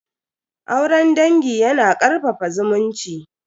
Auren dangi yana karfafa zumunci.